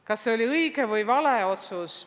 Kas see oli õige või vale otsus?